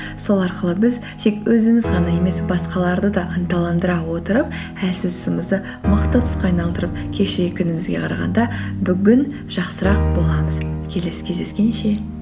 сол арқылы біз тек өзіміз ғана емес басқаларды да ынталандыра отырып әлсіз тұсымызды мықты тұсқа айналдырып кешегі күнімізге қарағанда бүгін жақсырақ боламыз келесі кездескенше